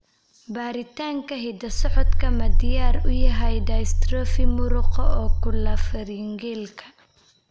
Baaritaanka hidda-socodka ma diyaar u yahay dystrophy muruqa oculopharyngealka?